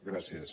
gràcies